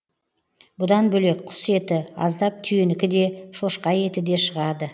бұдан бөлек құс еті аздап түйенікі де шошқа еті де шығады